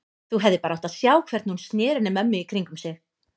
Þú hefðir bara átt að sjá hvernig hún sneri henni mömmu í kringum sig.